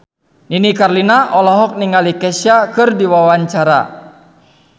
Nini Carlina olohok ningali Kesha keur diwawancara